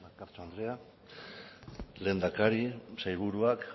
bakartxo andrea lehendakari sailburuak